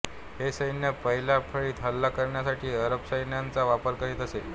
हे सैन्य पहिल्या फळीत हल्ला करण्यासाठी अरब सैन्याचा वापर करीत असे